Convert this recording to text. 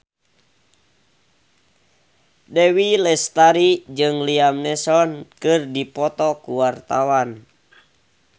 Dewi Lestari jeung Liam Neeson keur dipoto ku wartawan